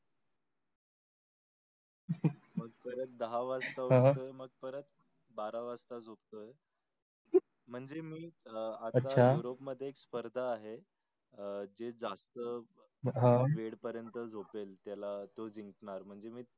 परत दहा वाजता उटतो मग परत बारा वाजता झोपतो आहे मंझे मी अं आता room मध्ये स्पर्धा आहे जे जास्त वेड परत झोपेल त्याला तो झिन्कनार.